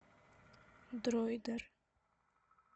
дройдер